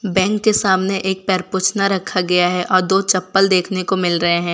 Bank के सामने एक पैर पोछना रखा गया है और दो चप्पल देखने को मिल रहे हैं।